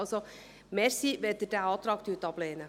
Also: Danke, wenn Sie diesen Antrag ablehnen.